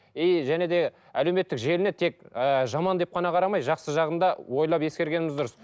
и және де әлеуметтік желіні тек ы жаман деп қана қарамай жақсы жағын да ойлап ескергеніміз дұрыс